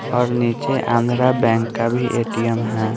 और नीचे आंध्रा बैंक का भी ए_टी_एम है।